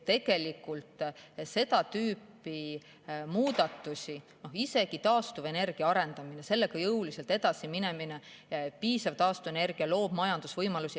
Tegelikult seda tüüpi muudatustega, isegi taastuvenergia arendamisega jõuliselt edasi minemine, kui on piisaval hulgal taastuvenergiat, siis see loob majandusvõimalusi.